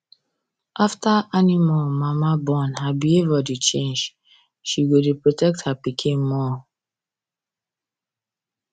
after animal mama born her behavior dey change she go dey protect her pikin more